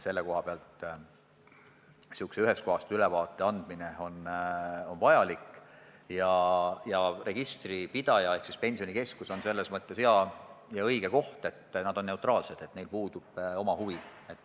Selline ühest kohast ülevaate andmine on vajalik ning registripidaja ehk Pensionikeskus on selleks hea ja õige koht – nad on neutraalsed, neil puudub oma huvi.